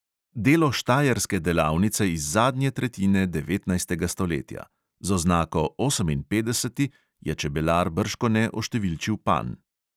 Delo štajerske delavnice iz zadnje tretjine devetnajstega stoletja; z oznako oseminpetdeseti je čebelar bržkone oštevilčil panj.